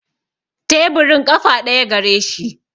Teburin ƙafa ɗaya gareshi